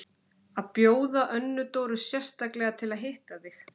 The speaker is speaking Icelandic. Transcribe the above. Og bjóða Önnu Dóru sérstaklega til að hitta þig!